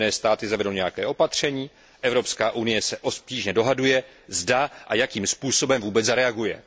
Spojené státy zavedou nějaké opatření, Evropská unie se obtížně dohaduje, zda a jakým způsobem vůbec zareaguje.